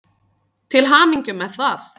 Til hamingju með það.